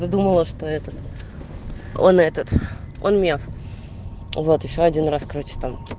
думала что этот он этот он мне вот ещё один раз короче там